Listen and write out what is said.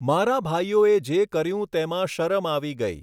મારા ભાઈઓએ જે કર્યું તેમાં શરમ આવી ગઈ!